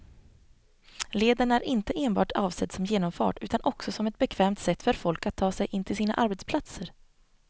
Leden är inte enbart avsedd som genomfart utan också som ett bekvämt sätt för folk att ta sig in till sina arbetsplatser.